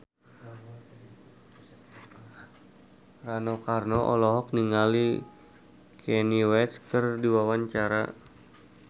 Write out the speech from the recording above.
Rano Karno olohok ningali Kanye West keur diwawancara